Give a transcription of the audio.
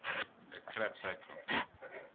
the krebb cycle